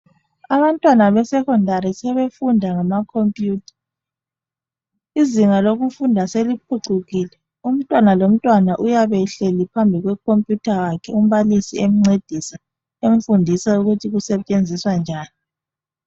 Abantwana be Secondary sebefunda ngama computer. Izinga lokufunda seliphucukile umntwana lomntwana uyabe ehleli phambi kwe computer yakhe umbalisi emncedisa emfundisa ukuthi isetshenziswa njani